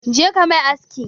Je ka mai aski!